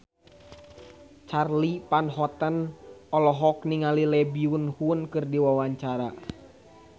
Charly Van Houten olohok ningali Lee Byung Hun keur diwawancara